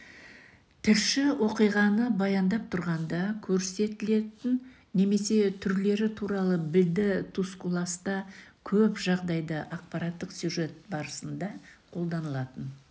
тілші оқиғаны баяндап тұрғанда көрсетілетін немесе түрлері туралы білді тускуласта көп жағдайда ақпараттық сюжет барысында қолданылатын